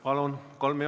Palun!